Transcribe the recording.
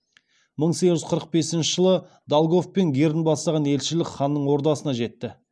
мың сегіз жүз қырық бесінші жылы долгов пен герн бастаған елшілік ханның ордасына жетті